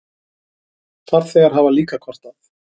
Farþegar hafa líka kvartað.